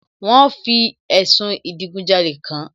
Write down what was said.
Wọ́n fi ẹ̀sùn ìdigunjalè kàán